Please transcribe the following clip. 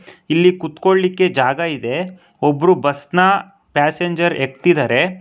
ಇಲ್ಲಿ ಕೂತ್ಕೋಳಿಕ್ಕೆ ಜಾಗ ಇದೆ ಒಬ್ರು ಬಸ್ ನ ಪ್ಯಾಸೆಂಜರ್ ಏಕ್ತಿದಾರೆ.